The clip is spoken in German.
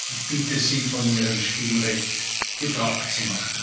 Ich bitte Sie, von Ihrem Stimmrecht Gebrauch zu